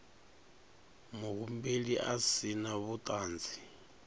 muhumbeli a si na vhuṱanzi